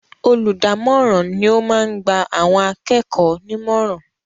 Olùdámọ̀ràn ni ó máa ń gba àwọn akẹ́kọ̀ọ́ nímọ̀ràn.